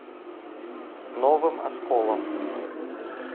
новым осколом